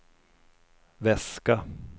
väska